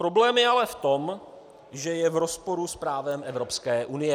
Problém je ale v tom, že je v rozporu s právem Evropské unie.